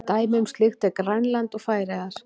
Dæmi um slíkt eru Grænland og Færeyjar.